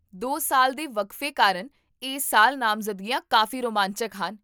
ਦੋ ਸਾਲ ਦੇ ਵਕਫੇ ਕਾਰਨ ਇਸ ਸਾਲ ਨਾਮਜ਼ਦਗੀਆਂ ਕਾਫੀ ਰੋਮਾਂਚਕ ਹਨ